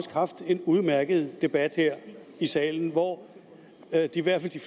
haft en udmærket debat her i salen hvor i hvert fald de